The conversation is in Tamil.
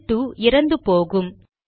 ஷெல் 2 இறந்து போகும்